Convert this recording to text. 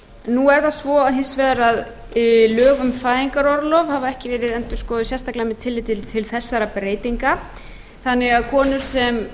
nú er það svo hins vegar að lög um fæðingarorlof hafa ekki verið endurskoðuð sérstaklega með tilliti til þessara breytinga þannig að